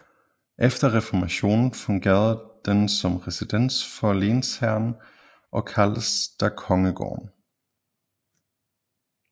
Efter reformationen fungerede den som residens for lensherrene og kaldtes da Kongsgården